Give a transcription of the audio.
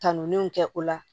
Kanulenw kɛ o la